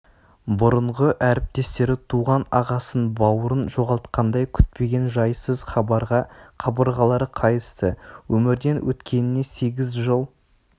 бұрынғы әріптестері туған ағасын бауырын жоғалтқандай күтпеген жайсыз хабарға қабырғалары қайысты өмірден өткеніне сегіз жыл